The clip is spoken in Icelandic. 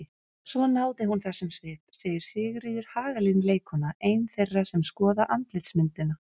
Svo hún náði þessum svip segir Sigríður Hagalín leikkona, ein þeirra sem skoða andlitsmyndina.